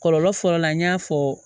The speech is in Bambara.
Kɔlɔlɔ fɔlɔ la n y'a fɔ